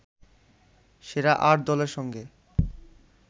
সেরা আট দলের সঙ্গে